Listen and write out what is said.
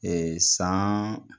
Ee san